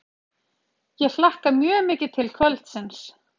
Ég hlakka mjög mikið til kvöldsins.